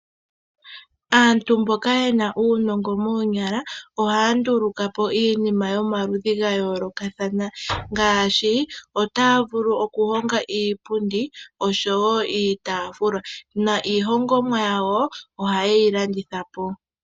Aantu mboka yena uunogo moonyala ohaa ndulukwapo iinima yomaludhi gayolokathana. Ngaashi otaa vulu oku honga iipundi oshowo iitafula. Na iihongomwa yawo ohayeyi landitha po.